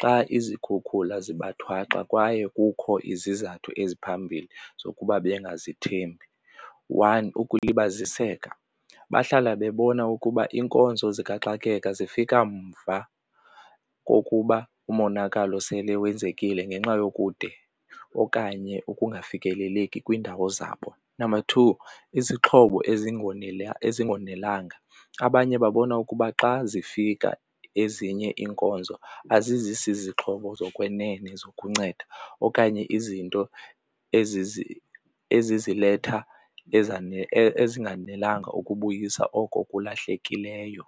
xa izikhukhula zibathwaxa kwaye kukho izizathu eziphambili zokuba bengazithembi. One, ukulibaziseka. Bahlala bebona ukuba iinkonzo zikaxakeka zifika mva kokuba umonakalo sele wenzekile ngenxa yokude okanye ukungafikeleleki kwiindawo zabo. Number two, izixhobo ezingonelanga. Abanye babona ukuba xa zifika ezinye iinkonzo azizisi zixhobo zokwenene zokunceda okanye izinto eziziletha ezinganelanga ukubuyisa oko kulahlekileyo.